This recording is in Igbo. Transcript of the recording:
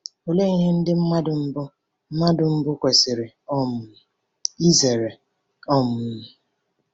Olee ihe ndị mmadụ mbụ mmadụ mbụ kwesiri um izere? um